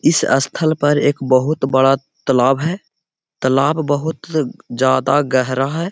इस स्थल पर एक बहुत बड़ा तालाब है तालाब बहुत ज्यादा गहरा है।